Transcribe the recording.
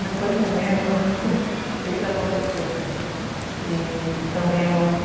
Não estou entendendo o que está acontecendo. E também eu não